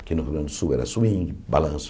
Aqui no Rio Grande do Sul era Swing, Balanço.